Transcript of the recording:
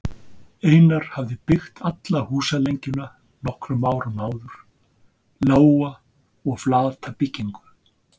Einar hafði byggt alla húsalengjuna nokkrum árum áður, lága og flata byggingu.